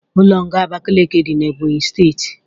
Ụlọ nga Abakiliki dị n'Ebonyi steeti